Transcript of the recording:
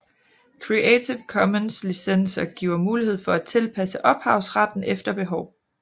Creative Commons Licenser giver mulighed for at tilpasse ophavsretten efter behov